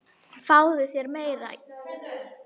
Fáðu þér meira!